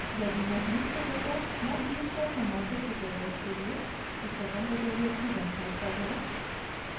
यदि नहीं तो कृपया netbeans पर संबंधित tutorials के लिए spoken tutorial की website पर जाएँ